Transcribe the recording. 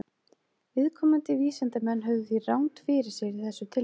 Viðkomandi vísindamenn höfðu því rangt fyrir sér í þessu tilviki.